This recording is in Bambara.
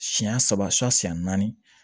Siɲɛ saba siyɛn naani